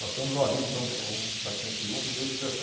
Nós temos uma vida então com praticamente juntos desde os